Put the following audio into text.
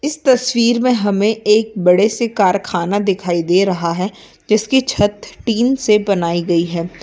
इस तस्वीर में हमें एक बड़े से कारखाना दिखाई दे रहा है जिसकी छत टीन से बनाई गई है।